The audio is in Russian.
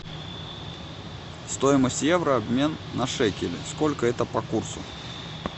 стоимость евро обмен на шекели сколько это по курсу